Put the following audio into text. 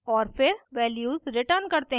और फिर values return करते हैं